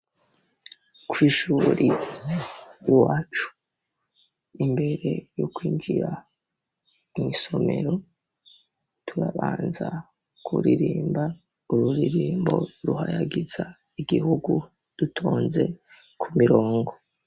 Kw'ishuri iwacu imbere yo kwinjira mw'isomero turabanza kuririmba ururirimbo ruhayagiza igihugu dutonze ku mirongo.